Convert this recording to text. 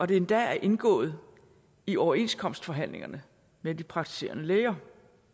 det endda er indgået i overenskomstforhandlingerne med de praktiserende læger